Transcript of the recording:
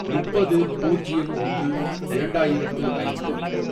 முப்பது, பூஜ்யம் ஒன்று, இரண்டாயிரத்து ஐந்து